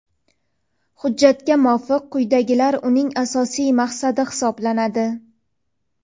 Hujjatga muvofiq quyidagilar uning asosiy maqsadi hisoblanadi:.